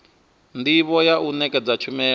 ndivho ya u nekedza tshumelo